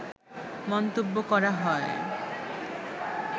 মন্তব্য করা হয়